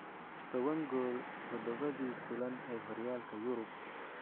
Tobaan gool todobadii kulan ee horyaalka Yurub.